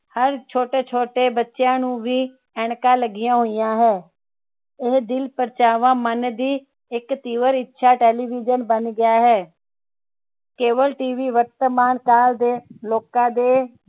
ਛੋਟੇ ਛੋਟੇ ਬੱਚਿਆਂ ਨੂੰ ਵੀ ਐਨਕਾਂ ਲੱਗਿਆ ਹੋਇਆ ਹੈ ਇਹ ਦਿਲ ਪ੍ਰਚਾਵਾ ਮਨ ਦੀ ਇਕ ਤਿਵਰ ਇੱਛਾ ਟੇਲੀਵਿਜਨ ਬਣ ਗਿਆ ਹੈ cableTV ਵਰਤਮਾਨ ਕਾਲ ਦੇ ਲੋਕਾਂ ਦੇ